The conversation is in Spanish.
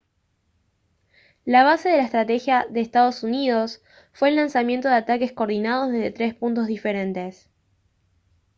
la base de la estrategia de ee uu fue el lanzamiento de ataques coordinados desde tres puntos diferentes